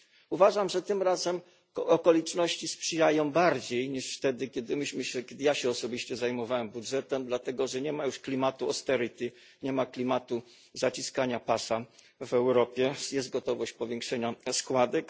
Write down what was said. Uważam, że tym razem okoliczności sprzyjają bardziej niż wtedy, kiedy ja się osobiście zajmowałem budżetem, dlatego że nie ma już klimatu austerity nie ma klimatu zaciskania pasa w Europie, jest gotowość powiększenia składek.